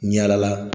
Yala la